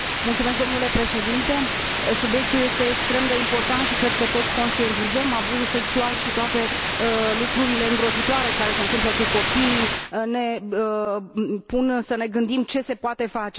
Domnule Președinte, subiectul este extrem de important și, cred că toți conștientizăm, abuzul sexual și toate lucrurile îngrozitoare care se întâmplă cu copiii ne fac să ne gândim ce se poate face.